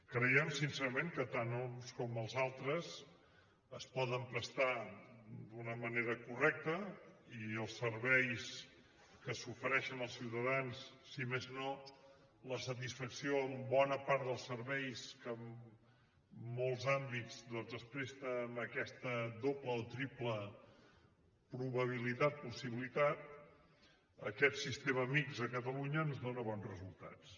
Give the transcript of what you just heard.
creiem sincerament que tant uns com els altres es poden prestar d’una manera correcta i els serveis que s’ofereixen als ciutadans si més no la satisfacció en bona part dels serveis que en molts àmbits es presta amb aquesta doble o triple probabilitat possibilitat aquest sistema mixt a catalunya ens dóna bons resultats